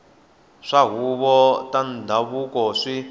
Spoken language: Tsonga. swa tihuvo ta ndhavuko swi